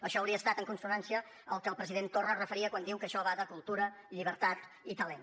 això hauria estat en consonància al que el president torra es referia quan diu que això va de cultura llibertat i talent